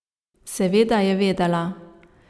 Seveda je vedela.